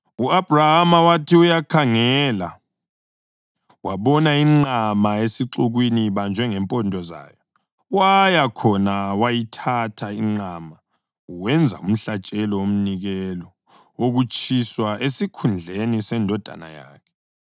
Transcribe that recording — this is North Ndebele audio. U-Abhrahama wathi uyakhangela wabona inqama esixukwini ibanjwe ngempondo zayo. Waya khona wayithatha inqama wenza umhlatshelo womnikelo wokutshiswa esikhundleni sendodana yakhe.